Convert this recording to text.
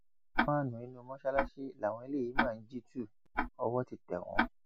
fàánú inú mọsálásí làwọn eléyìí máa ń jí tu owó ti tẹ wọn